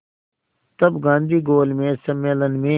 तब गांधी गोलमेज सम्मेलन में